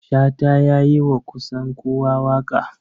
Shata ya yi wa kusan kowa waƙa.